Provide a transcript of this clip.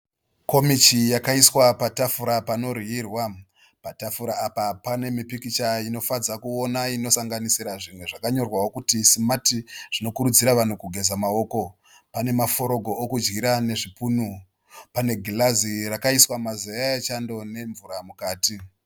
Komichi yakaiswa patafura painodyirwa. Tafura apa panemikicha inofadza kuona inosanganisira zvimwe zvakanyorwawo kuti simati zvinokurudzira vanhu kugeza maoko. Pane maforogo kudyisa nezvipunu, pane girazi rakaisirwa mazeya echando nemvura mukati.